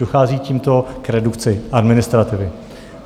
Dochází tímto k redukci administrativy.